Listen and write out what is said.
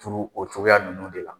Turu o cogoya ninnu de la.